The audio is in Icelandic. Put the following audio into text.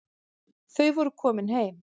Þau voru komin heim.